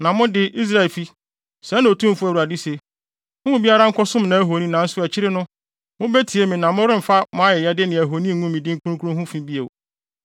“ ‘Na mo de, Israelfi, sɛɛ na Otumfo Awurade se: Mo mu biara nkɔsom nʼahoni! Nanso akyiri no, mubetie me na moremfa mo ayɛyɛde ne ahoni ngu me din kronkron ho fi bio.